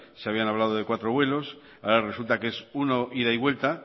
se habían hablado de cuatro vuelos ahora resulta que es uno ida y vuelta